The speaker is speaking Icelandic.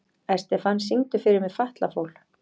Estefan, syngdu fyrir mig „Fatlafól“.